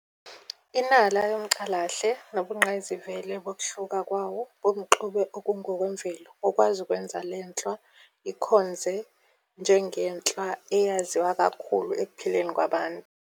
Inala yomcalahle, nobungqayizivele bokuhluka kwawo bomxube ongokwemvelo bukwazi ukwenza lenhlwa ikhonze njengenhlwa eyaziwa kakhulu ekuphileni kwabantu.